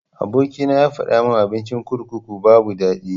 Aboki na yafadamin abincin kurkuku babu daɗi.